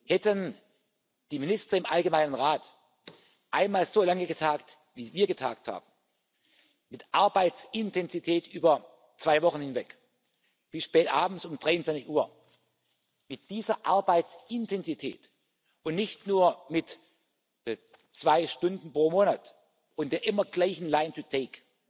Hätten die Minister im Rat Allgemeine Angelegenheiten einmal so lange getagt, wie wir getagt haben, mit Arbeitsintensität über zwei Wochen hinweg bis spätabends um 23 Uhr, mit dieser Arbeitsintensität und nicht nur mit zwei Stunden pro Monat und der immer gleichen line to take